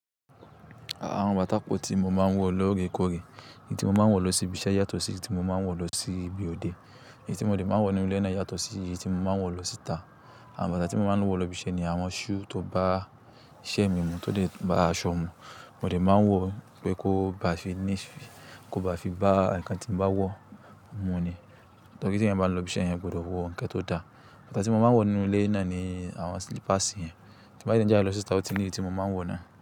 Àwọn bàtà kan tí mo máa ń wọ lógekóge. Èyí tí mo máa ń wọ lọ sí ibi iṣẹ́ yàtọ̀ sí èyí tí mo máa ń wọ lọ sí ibi òde. Èyí tí mo dè máa ń wọ nínú ilé náà yàtọ̀ sí èyí tí mo máa ń wọ lọ síta. Àwọn bàtà tí mo máa ń wọ lọ ibi iṣẹ́ ni àwọn shoe tó bá iṣẹ́ mi mu, tó lè bá aṣọ mu. Mo dè máa ń wọ pé kó bá fi ní, kó bá fi bá ǹkan tí mo bá wọ, mu ni. Torí tí ẹ̀yin bá lọ ibi iṣẹ́, eeyan gbọdọ̀ wọ ǹkan tó da. Bàtà tí mo máa ń wọ nínú ilé náà ni àwọn slippers yẹn. Tí mo bá dẹ̀ n jáde lọ síta, ó ti ní èyí tí mo máa ń wọ náà.